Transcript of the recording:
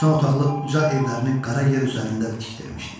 Doxsan otaqlı uca evlərini qara yer üzərində tikdirmişdi.